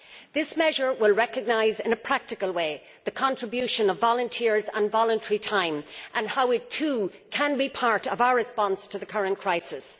This measure will recognise in a practical way the contribution of volunteers and voluntary time and how it, too, can be part of our response to the current crisis.